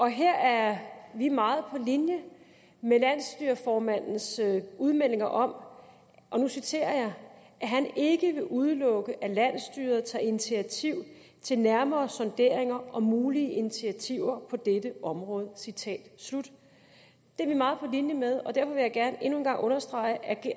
her er vi meget på linje med landsstyreformandens udmeldinger om og nu citerer jeg at han ikke vil udelukke at landsstyret tager initiativ til nærmere sonderinger og mulige initiativer på dette område citat slut det er vi meget på linje med og derfor vil jeg gerne endnu en gang understrege at